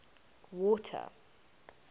water